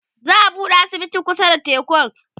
za'a buɗe asibiti kusa da tekun